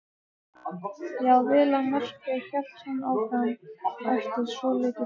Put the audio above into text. Já, vel að merkja, hélt hún áfram eftir svolitla þögn.